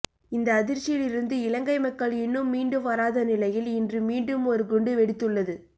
இந்த அதிர்ச்சியில் இருந்து இலங்கை மக்கள் இன்னும் மீண்டு வராத நிலையில் இன்று மீண்டும் ஒரு குண்டு வெடித்துள்ளது